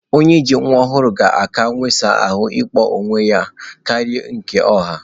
Onye ji nwa ọhụrụ ga-aka wụsa ahụ na ụgbọ ala onwe ya karịa nke ọha